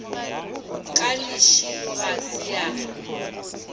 ke lešilo ga se a